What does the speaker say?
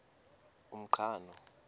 umqhano